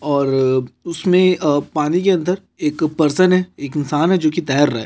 और उसमें अ पानी के अंदर एक पर्सन है एक इंसान है जो की तैर रहा है।